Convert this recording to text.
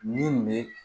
Nin bɛ